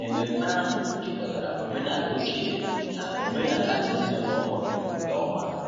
Ememme ahụ jikọtara omenala ochie na omenala ezinụlọ ọhụrụ nke ọma.